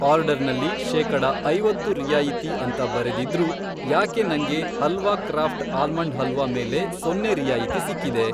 ಆರ್ಡರ್ನಲ್ಲಿ ಶೇಕಡ ಐವತ್ತು ರಿಯಾಯಿತಿ ಅಂತ ಬರೆದಿದ್ರೂ, ಯಾಕೆ ನಂಗೆ ಹಲ್ವಾ ಕ್ರಾಫ಼್ಟ್ ಆಲ್ಮಂಡ್ ಹಲ್ವಾ ಮೇಲೆ ಸೊನ್ನೆ ರಿಯಾಯಿತಿ ಸಿಕ್ಕಿದೆ?